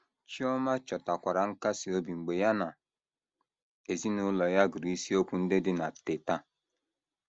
Chioma chọtakwara nkasi obi mgbe ya na ezinụlọ ya gụrụ isiokwu ndị dị na Teta!